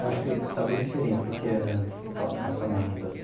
Eu acho que está bem diferente do que era antes, calçamento.